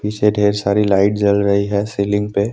पीछे ढेर सारी लाइट जल रही है सीलिंग पे।